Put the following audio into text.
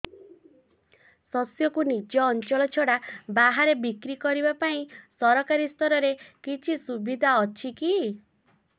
ଶସ୍ୟକୁ ନିଜ ଅଞ୍ଚଳ ଛଡା ବାହାରେ ବିକ୍ରି କରିବା ପାଇଁ ସରକାରୀ ସ୍ତରରେ କିଛି ସୁବିଧା ଅଛି କି